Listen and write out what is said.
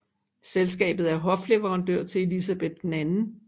Selskabet er hofleverandør til Elizabeth 2